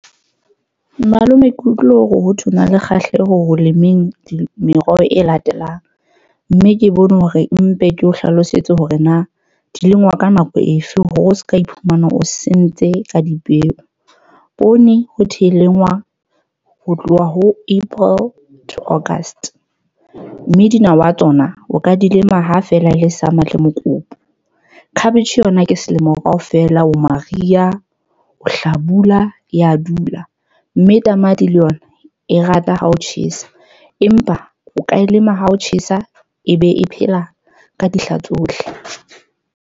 Malome ke utlwile ho thwe o na le kgahleho ho lemeng meroho e latelang. Mme ke bone hore mpe ke o hlalosetse hore na di lengwa ka nako efe hore o seka iphumana o sentse ka dipeo. Poone ho thwe e lengwa ho tloha ho April to August. Mme dinawa tsona o ka di lema ha fela le summer le mokopu. Cabbage yona ke selemo ka ofela, o mariha, o hlabula ya dula. Mme tamati le yona e rata ha o tjhesa. Empa o ka e lema ha o tjhesa e be e phela ka dihla tsohle.